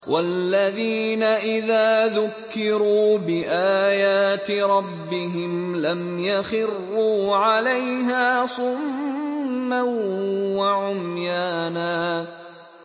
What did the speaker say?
وَالَّذِينَ إِذَا ذُكِّرُوا بِآيَاتِ رَبِّهِمْ لَمْ يَخِرُّوا عَلَيْهَا صُمًّا وَعُمْيَانًا